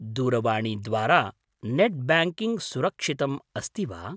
दूरवाणीद्वारा net banking सुरक्षितम् अस्ति वा?